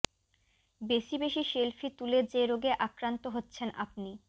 বেশি বেশি সেলফি তুলে যে রোগে আক্রান্ত হচ্ছেন আপনি